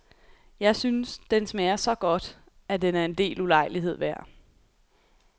Jeg synes, den smager så godt, at den er en del ulejlighed værd.